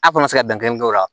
A' kɔnɔ ti se ka dan kelen k'o la